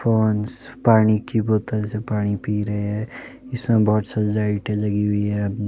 पानी के बोतल से पानी पी रहे हैं जिसमे बहोत सारी लाइटे लगी हुई हैं।